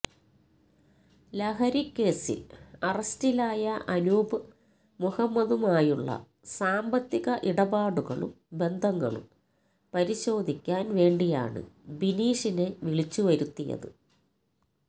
ലഹരിക്കേസിൽ അറസ്റ്റിലായ അനൂപ് മുഹമ്മദുമായുള്ള സാമ്പത്തിക ഇടപാടുകളും ബന്ധങ്ങളും പരിശോധിക്കാൻ വേണ്ടിയാണ് ബിനീഷിനെ വിളിച്ചു വരുത്തിയത്